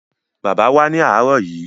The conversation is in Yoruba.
Bàbá wá ní àárọ̀ yìí.